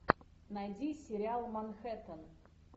найди сериал манхэттен